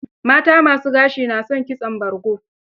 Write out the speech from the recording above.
Mata ma su gashi na son kitson bargo.